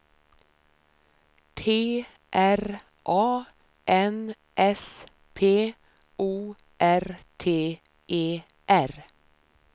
T R A N S P O R T E R